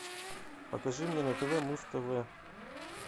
покажи мне на тв муз тв